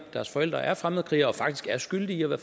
deres forældre er fremmedkrigere og faktisk er skyldige